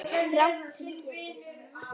Rangt til getið